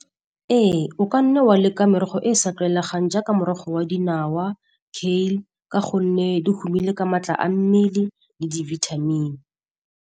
Ee, o ka nne wa leka merogo e e sa tlwaelegang jaaka morogo wa dinawa, kale, ka gonne dihuumile ka maatla a mmele le di-vitamin-e.